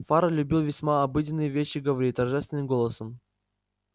фара любил весьма обыденные вещи говорить торжественным голосом